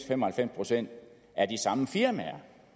fem og halvfems procent af de samme firmaer